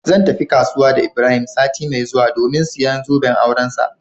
Zan tafi kasuwa da ibrahim sati mai zuwa domin siyan zoben aurensa.